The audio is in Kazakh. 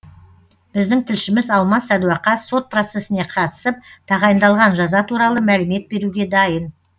біздің тілшіміз алмас садуақас сот процесіне қатысып тағайындалған жаза туралы мәлімет беруге дайын